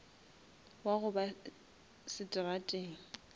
wa go ba seterateng